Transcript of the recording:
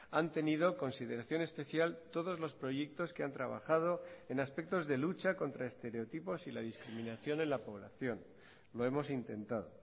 han tenido consideración especial todos los proyectos que han trabajado en aspectos de lucha contra estereotipos y la discriminación en la población lo hemos intentado